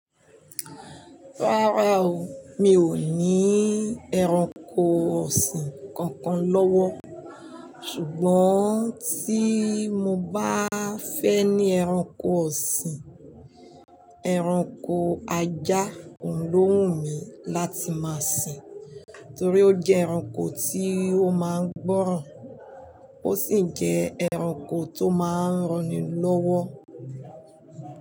Rárá o, mi ò ní ẹranko ọ̀sìn kankan lọ́wọ́. Ṣùgbọ́n tí mo bá fẹ́ ní ẹranko ọ̀sìn, ẹranko ajá òun ló wù mí láti máa sin. Torí ó jẹ́ ẹranko tí ó máa ń gbọ́ràn, ó sì jẹ́ ẹranko tó máa ń ranni lọ́wọ́